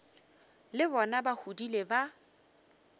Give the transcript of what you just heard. le bona ba godile ba